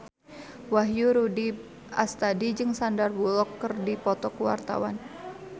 Wahyu Rudi Astadi jeung Sandar Bullock keur dipoto ku wartawan